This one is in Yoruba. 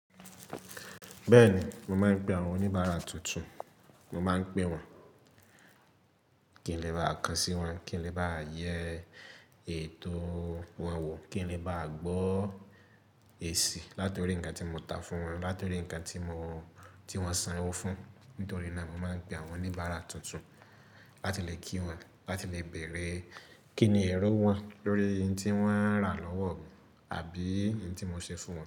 Bẹ́ẹ̀ni, mo máa ń pé àwọn oníbàárà tuntun, mo máa ń pè wọ́n kí n lè bá kan sí wọ́n, kí n lè bá yẹ ètò wọn wò, kí n lè bá gbọ́ èsì látọ̀rí ǹkan tí mo ta fún wọn, látọ̀rí ǹkan tí wọ́n sanwó fún, nítorí náà mo máa ń pé àwọn oníbàárà tuntun láti lè kí wọ́n, láti lè bẹ̀rẹ̀ kíni ẹ̀rọ wọn, lórí ohun tí wọ́n rà lọ́wọ́ mi àbí ohun tí mo ṣe fún wọn.